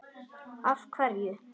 Kristján Már: Af hverju?